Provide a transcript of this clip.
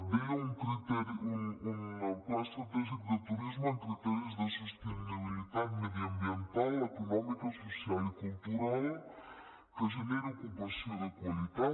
deia un pla estratègic de turisme amb criteris de sostenibilitat mediambiental econòmica social i cultural que generi ocupació de qualitat